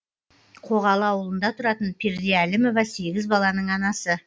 қоғалы ауылында тұратын перде әлімова сегіз баланың анасы